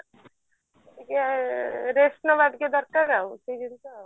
ଟିକେ rest ନବା ଟିକେ ଦରକାର ଆଉ ସେଇଗୁଡ଼ିକ